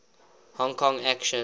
hong kong action